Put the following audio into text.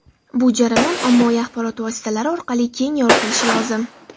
Bu jarayon ommaviy axborot vositalari orqali keng yoritilishi lozim.